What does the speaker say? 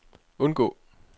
undgå